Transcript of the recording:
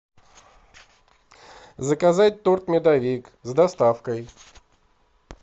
заказать торт медовик с доставкой